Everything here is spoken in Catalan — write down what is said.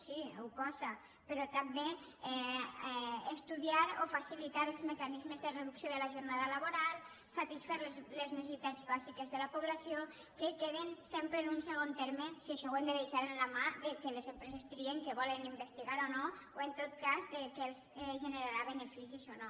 sí ho posa però també estudiar o facilitar els mecanis·mes de reducció de la jornada laboral satisfer les ne·cessitats bàsiques de la població que queden sempre en un segon terme si això ho hem de deixar de la mà que les empreses trien què volen investigar o no o en tot cas què els generarà beneficis o no